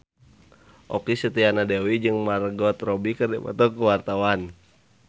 Okky Setiana Dewi jeung Margot Robbie keur dipoto ku wartawan